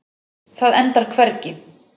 Það endar hvergi.